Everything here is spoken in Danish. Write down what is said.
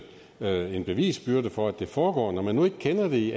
lave en bevisbyrde for at det foregår når man nu ikke kender det i